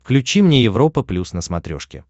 включи мне европа плюс на смотрешке